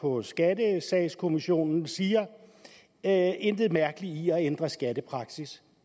på skattesagskommissionen siger at intet mærkeligt er i at ændre skattepraksis